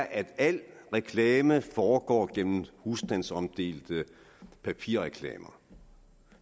at al reklame foregår gennem husstandsomdelte papirreklamer